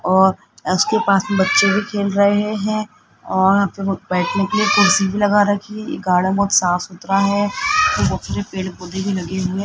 और उसके पास बच्चे भी खेल रहे हैं और वहां पे बैठने के लिए कुर्सी भी लगा रखी है ये गार्डन बहुत साफ सुथरा है और बहुत येपेड़ पौधे भी लगे हुए --